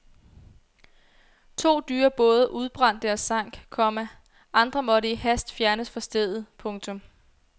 To dyre både udbrændte og sank, komma andre måtte i hast fjernes fra stedet. punktum